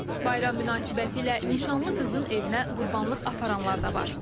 Bayram münasibətilə nişanlı qızın evinə qurbanlıq aparanlar da var.